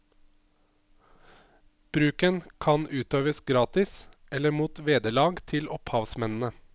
Bruken kan utøves gratis eller mot vederlag til opphavsmennene.